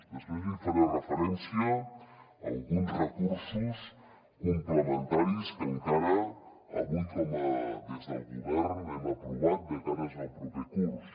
després hi faré referència a alguns recursos complementaris que encara avui des del govern hem aprovat de cara al proper curs